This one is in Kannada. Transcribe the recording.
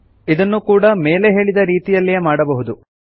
ಇದನ್ನೂ ಕೂಡ ಮೇಲೆ ಹೇಳಿದ ರೀತಿಯಲ್ಲೇ ಮಾಡಬಹುದು